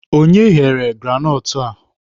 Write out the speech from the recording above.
Onye ghere granọtụ a?